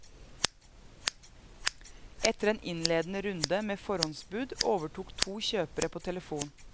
Etter en innledende runde med forhåndsbud overtok to kjøpere på telefon.